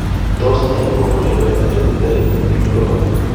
Tos nee negonu Leber hereditary optic neuropathy ?